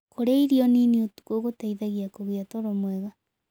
Kũrĩa irio nĩnĩ ũtũkũ gũteĩthagĩa kũgĩa toro mwega